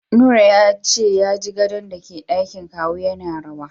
Nura yace yaji gadon dake dakin kawu yana rawa